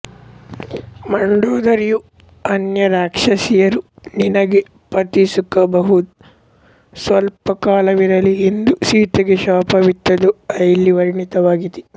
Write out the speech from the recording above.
ಮಂಡೋದರಿಯೂ ಅನ್ಯರಾಕ್ಷಸಿಯರೂ ನಿನಗೆ ಪತಿಸುಖ ಬಹು ಸ್ವಲ್ಪಕಾಲವಿರಲಿ ಎಂದು ಸೀತೆಗೆ ಶಾಪವಿತ್ತದ್ದು ಇಲ್ಲಿ ವರ್ಣಿತವಾಗಿದೆ